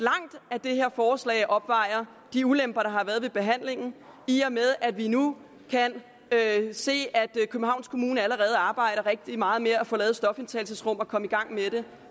at det her forslag opvejer de ulemper der har været ved behandlingen i og med at vi nu kan se at københavns kommune allerede arbejder rigtig meget med at få lavet stofindtagelsesrum og komme i gang med det